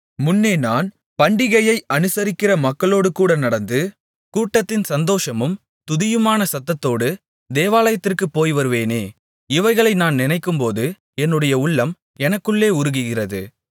முன்னே நான் பண்டிகையை அனுசரிக்கிற மக்களோடு கூட நடந்து கூட்டத்தின் சந்தோஷமும் துதியுமான சத்தத்தோடு தேவாலயத்திற்குப் போய்வருவேனே இவைகளை நான் நினைக்கும்போது என்னுடைய உள்ளம் எனக்குள்ளே உருகுகிறது